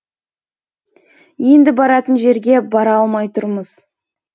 енді баратын жерге бара алмай тұрмыз